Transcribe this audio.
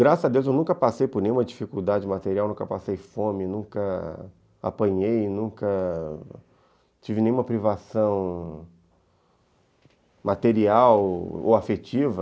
Graças a Deus eu nunca passei por nenhuma dificuldade material, nunca passei fome, nunca apanhei, nunca tive nenhuma privação material ou afetiva.